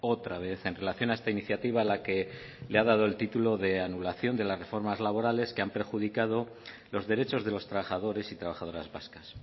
otra vez en relación a esta iniciativa a la que le ha dado el título de anulación de las reformas laborales que han perjudicado los derechos de los trabajadores y trabajadoras vascas